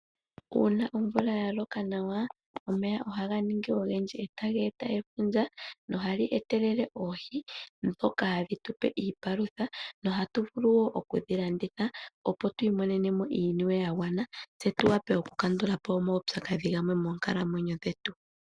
Uuna omvula yaloka nawa, omeya ohaganingi ogendji e taga eta efundja na oha li etelele oohi, dhoka hadhi tupe iipalutha na ohatu vulu wo okudhi landitha opo tu imonene mo iiniwe yagwana , tse tuwape oku kandulapo omaupyakadhi gamwe moonkalamwenyo dhetu.